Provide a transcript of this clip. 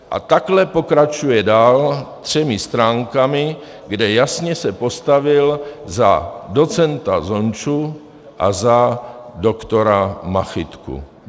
A takhle pokračuje dál třemi stránkami, kde se jasně postavil za docenta Zonču a za doktora Machytku.